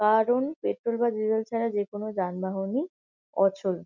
কারন পেট্রোল বা ডিজেল ছাড়া যে কোন যানবাহনই অচল।